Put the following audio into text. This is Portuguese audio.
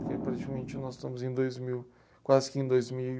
Porque praticamente nós estamos em dois mil, quase que em dois mil